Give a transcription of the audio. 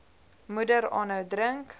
moeder aanhou drink